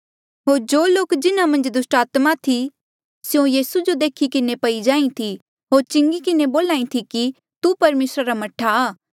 होर जो लोक जिन्हा मन्झ दुस्टात्मा थी जेबे स्यों यीसू जो देख्ही किन्हें पई जाहीं थी होर चिंगी किन्हें बोल्हा ई थी कि तू परमेसरा रा मह्ठा आ